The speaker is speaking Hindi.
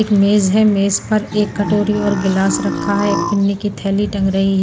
एक मेज है मेज पर एक कटोरी और गिलास रखा है एक पिन्नी की थैली टग रही है।